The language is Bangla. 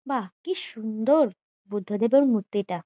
বাহ কি সুন্দর বুদ্ধদেবের মূর্তিটা।